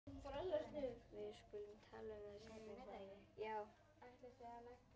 Við skulum tala um það seinna sagði ég.